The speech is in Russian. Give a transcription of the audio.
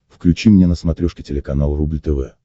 включи мне на смотрешке телеканал рубль тв